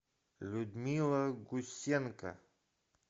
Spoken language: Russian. людмила гусенко